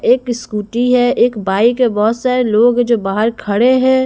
एक स्कूटी है एक बाइक है बहुत सारे लोग है जो बाहर खड़े हैं।